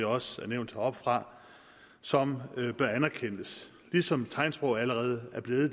også er nævnt heroppefra som bør anerkendes som tegnsprog allerede er blevet